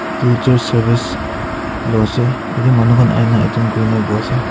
Etu church service lao ase etu manu khan ahina attend kuri na bohise.